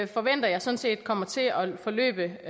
forventer jeg sådan set kommer til at forløbe